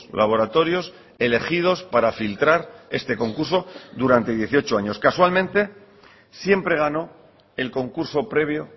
laboratorios elegidos para filtrar este concurso durante dieciocho años casualmente siempre ganó el concurso previo